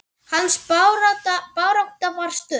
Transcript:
Hans barátta var stutt.